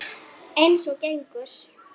Eins og gengur.